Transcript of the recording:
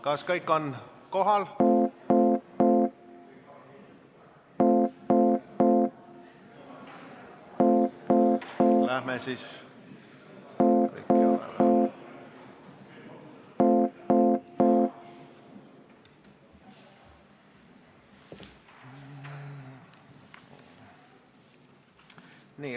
Kas kõik on kohal?